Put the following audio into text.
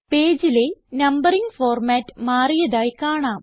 പേജിലെ numbering format മാറിയതായി കാണാം